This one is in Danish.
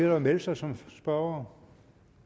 at melde sig som spørgere